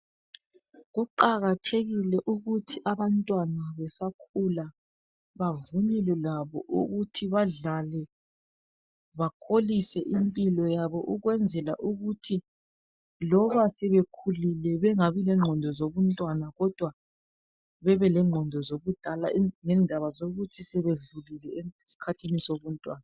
Kuqakathekile ukuthi abantwana besakhula bavunyelwe labo ukuthi badlale bakholisa impilo yabo ukwenzela ukuthi loba sebekhulile bengabi lengqondo zobuntwana kodwa bebe lengqondo zobudala ngendaba zokuthi sebedlulile eskhathini sobuntwana.